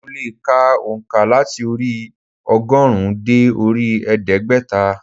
Mo le è ka ònká láti orí i ogórùn ún dé orí i ẹdégbẹ́ta